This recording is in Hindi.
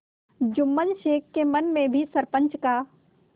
जुम्मन शेख के मन में भी सरपंच का